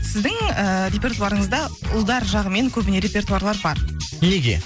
сіздің ііі репертуарыңызда ұлдар жағымен көбіне репертуарлар бар неге